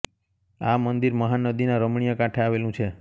આ મંદિર મહા નદીના રમણીય કાંઠે આવેલું છે